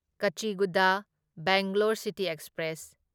Kacheguda Bangalore city express